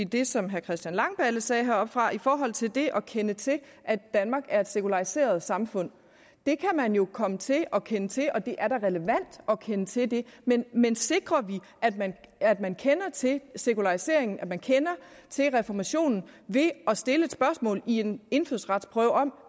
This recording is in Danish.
i det som herre christian langballe sagde heroppefra i forhold til det at kende til at danmark er et sekulariseret samfund det kan man jo komme til at kende til og det er da relevant at kende til det men men sikrer vi at man at man kender til sekularisering at man kender til reformationen ved at stille et spørgsmål i en indfødsretsprøve om